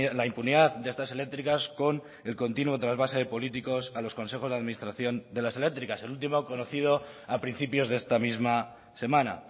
la impunidad de estas eléctricas con el continuo trasvase de políticos a los consejos de administración de las eléctricas el último conocido a principios de esta misma semana